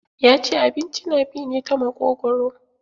Ya ce abinci na bi ne ta maƙogwaro.